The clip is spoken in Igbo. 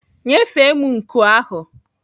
Nyefee m nku ahụ!